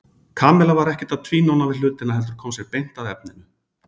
Kamilla var ekkert að tvínóna við hlutina heldur kom sér beint að efninu.